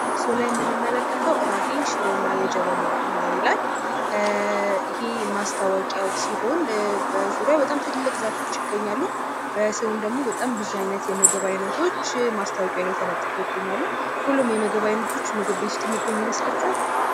ምስሉ ላይ የምንመለከተው ራሔል ሽር እና የጀበና ቡና ይላል። ይህ ማስታወቂያው ሲሆን በዙሪያው ብዙ ትላልቅ ዛፎች ይገኛሉ። በስሩም ደግሞ ብዙ ይነት የምግብ አይነቶች በማስታወቂያው ላይ ተለጥፈው ይገኛሉ። ሁሉም የምግብ አይነቶች ምግብ ቤት ውስጥ የሚገኙ ይመስላችኋል?